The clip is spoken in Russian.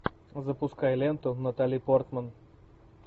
запускай ленту натали портман